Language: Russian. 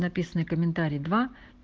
написанные комментарии два